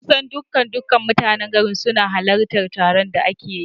Kusan dukkan dukkan mutanen garin sun halarci taron da aka yi